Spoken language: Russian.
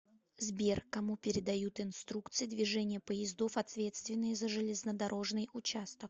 сбер кому передают инструкции движения поездов ответственные за железнодорожный участок